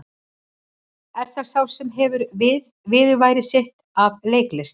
Er það sá sem hefur viðurværi sitt af leiklist?